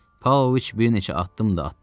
Paoviç bir neçə addım da atdı.